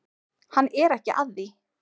Hann er ekki að því.